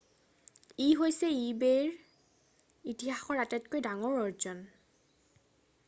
ই হৈছে ইবে’ইৰ ইতিহাসৰ আটাতকৈ ডাঙৰ আৰ্জন।